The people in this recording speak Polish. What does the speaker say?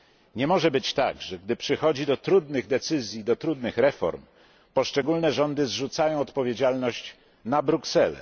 Nie może być tak, że gdy przychodzi do trudnych decyzji, do trudnych reform, poszczególne rządy zrzucają odpowiedzialność na Brukselę.